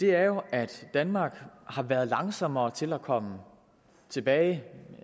er at danmark har været langsommere til at komme tilbage